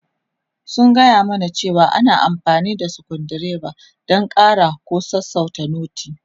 Sun gaya mana cewa ana amfani da sukuru dreba don ƙara ko sassauta noti.